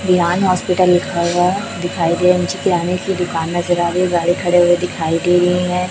दीवान hospital लिखा हुआ है दुकान नजर आ रही है गाड़ी खड़ी हुई दिखाई दे रही है।